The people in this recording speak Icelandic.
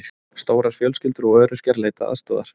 Stórar fjölskyldur og öryrkjar leita aðstoðar